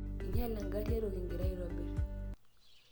inyale engarri eto kingira aitobirr